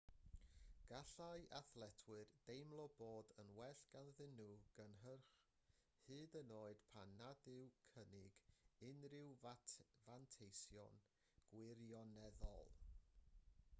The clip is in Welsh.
gallai athletwyr deimlo bod yn well ganddyn nhw gynnyrch hyd yn oed pan nad yw'n cynnig unrhyw fanteision gwirioneddol